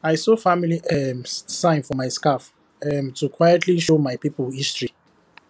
i sew family um sign for my scarf um to quietly show my people history